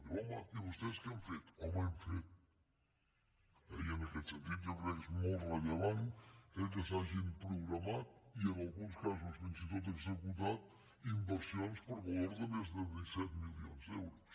diu home i vostès què han fet home hem fet eh i en aquest sentit jo crec que és molt rellevant que s’hagin programat i en alguns casos fins i tot executat inversions per valor de més disset milions d’euros